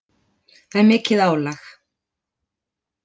Það er mikið álag.